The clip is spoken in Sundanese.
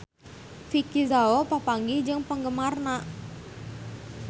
Vicki Zao papanggih jeung penggemarna